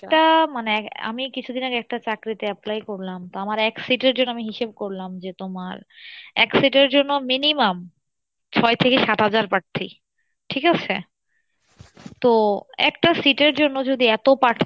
একটা, মানে আহ আমি কিছুদিন আগে একটা চাকরি তে apply করলাম তো আমার এক আমি হিসেব করলাম যে তোমার এর জন্য minimum ছয় থেকে সাত হাজার পার্থী ঠিক আছে? তো, একটা sit এর জন্য যদি এত পার্থী